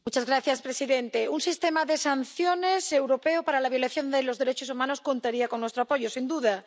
Señor presidente, un sistema de sanciones europeo para la violación de los derechos humanos contaría con nuestro apoyo, sin duda.